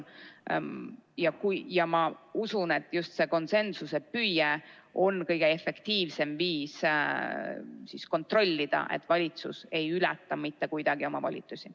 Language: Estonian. Ja ma usun, et just see konsensuse püüe on kõige efektiivsem viis kontrollida, et valitsus ei ületa mitte kuidagi oma volitusi.